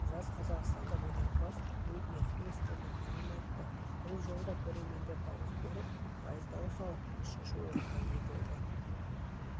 жас қазақстандық өнерпаз уитни хьюстонның әнін айтты бұл жолы да көрермендер дауыс беріп пайыз дауыс алып үшінші орынға ие болды